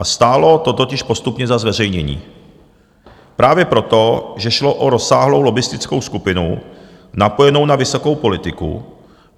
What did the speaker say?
A stálo to totiž postupně za zveřejnění právě proto, že šlo o rozsáhlou lobbistickou skupinu napojenou na vysokou politiku.